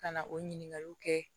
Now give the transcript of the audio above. Ka na o ɲininkaliw kɛ